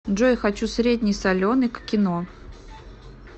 джой хочу средний соленый к кино